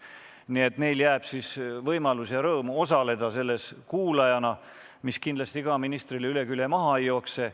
Nii et neil on võimalus ja rõõm osaleda infotunnis kuulajana, mis kindlasti ministril mööda külge maha ei jookse.